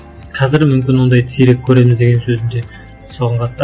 қазір мүмкін ондайды сирек көреміз деген сөзім де соған қатысты